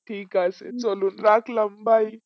ঠিক আছে চলো রাখলাম bye